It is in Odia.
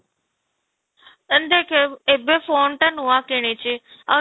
and ଦେଖେ ଏବେ phone ଟା ନୂଆ କିଣିଛି, ଆଉ